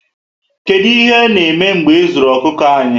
Kedu ihe na eme mgbe ezuru okuku anyị?